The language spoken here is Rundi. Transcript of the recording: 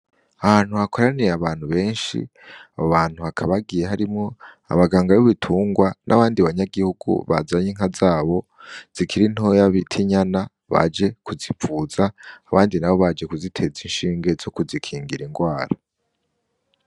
Ahantu hakoraniye abantu benshi, abo bantu bakaba bagiye harimwo abaganga b'ibitungwa n'abandi banyagihugu bazanye inka zabo zikiri ntoya bita inyana, baje kuzivuza abandi nabo baje kuziteza inshinge zo ku zikingira ingwara.